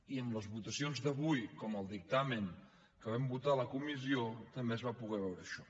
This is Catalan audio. i en les votacions d’avui com al dictamen que vam votar a la comissió també es va poder veure això